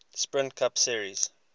sprint cup series